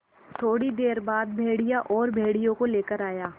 थोड़ी देर बाद भेड़िया और भेड़ियों को लेकर आया